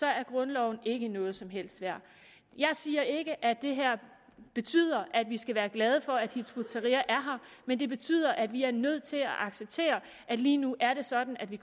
er grundloven ikke noget som helst værd jeg siger ikke at det her betyder at vi skal være glade for at hizb ut tahrir er her men det betyder at vi er nødt til at acceptere at lige nu er det sådan at vi